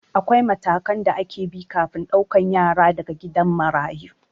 Akwai matakan da ake bi kafin ɗaukan yara daga gidan marayu